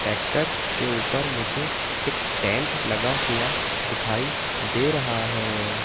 Tractor के ऊपर मुझे एक टेंट लगा हुआ दिखाई दे रहा है।